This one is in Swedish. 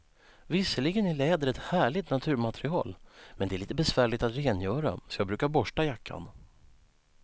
Visserligen är läder ett härligt naturmaterial, men det är lite besvärligt att rengöra, så jag brukar borsta jackan.